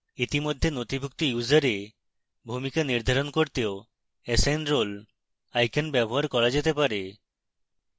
ইতিমধ্যে নথিভুক্ত ইউসারে ভূমিকা নির্ধারণ করতেও assign role icon ব্যবহার করা যেতে পারে